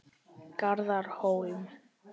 Garðar Hólm.